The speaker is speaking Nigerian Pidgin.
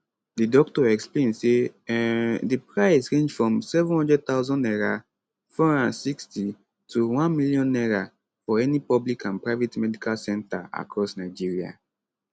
di doctor explain say um di price range from 700000 naira 460 to 1m naira for any public and private medical centre across nigeria